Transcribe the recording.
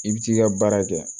I bi t'i ka baara kɛ